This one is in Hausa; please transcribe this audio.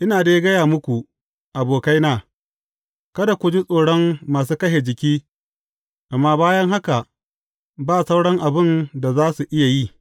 Ina dai gaya muku abokaina, kada ku ji tsoron masu kashe jiki, amma bayan haka, ba sauran abin da za su iya yi.